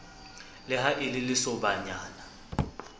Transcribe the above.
le ha e le lesobanyana